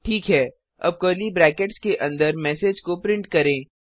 ठीक है अब कर्ली ब्रैकेट्स के अंदर मैसेज को प्रिंट करें